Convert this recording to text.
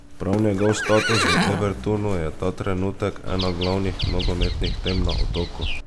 Prav njegov status v Evertonu je ta trenutek ena glavnih nogometnih tem na Otoku.